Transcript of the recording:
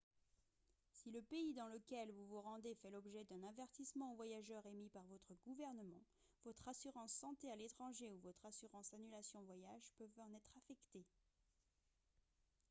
si le pays dans lequel vous vous rendez fait l'objet d'un avertissement aux voyageurs émis par votre gouvernement votre assurance santé à l'étranger ou votre assurance annulation voyage peuvent en être affectées